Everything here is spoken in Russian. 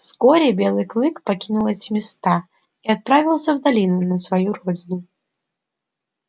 вскоре белый клык покинул эти места и отправился в долину на свою родину